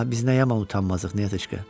Ah, biz nə yaman utanmazdıq, Nətişka.